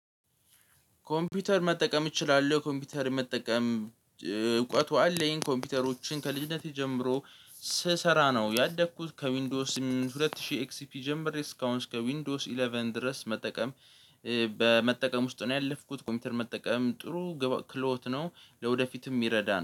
ኮምፒውተር መጠቀም እችላለሁ ኮምፒውተር መጠቀም እውቀቱ አለኝ። ኮምፒውተሮችን ከልጅነቴ ጀምሮ ስሰራ ነው ያደኩት ከዊንዶስ ሁለት ሺህ ኤክስፒ ጀምሮ ሪስካውንስ ከዊንዶስ ኢለቨን ድረስ መጠቀም። በመጠቀም ውስጥ ነው ያለፍኩት ኮምፒውተር መጠቀም ጥሩ ክሎት ነው። ለወደፊትም ይረዳል።